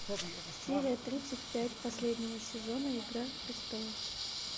серия тридцать пять последнего сезона игра престолов